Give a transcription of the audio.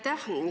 Aitäh!